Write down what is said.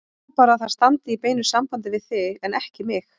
Ég vona bara að það standi í beinu sambandi við þig, en ekki mig.